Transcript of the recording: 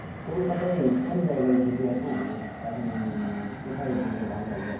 কলকাতায় কোন জায়গায় ঘুরবি এখন? এখন কোথায় ঘুরলে ভালো হবে?